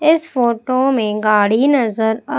इस फोटो में गाड़ी नजर आ--